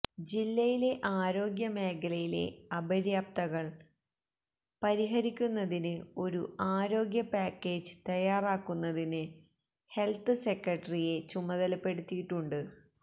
ജില്ലയിലെ ആരോഗ്യമേഖലയിലെ അപര്യാപ്തതകള് പരിഹരിക്കുന്നതിന് ഒരു ആരോഗ്യ പാക്കേജ് തയ്യാറാക്കുന്നതിന് ഹെല്ത്ത് സെക്രട്ടറിയെ ചുമതലപ്പെടുത്തിയിട്ടുണ്ട്